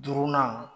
Duurunan